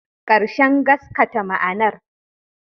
Ƙarshen gaskata ma'anar